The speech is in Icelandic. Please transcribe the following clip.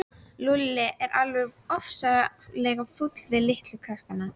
Lúlli er alveg ofsalega fúll við litla krakka.